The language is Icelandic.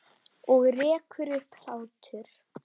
Og rekur upp hlátur.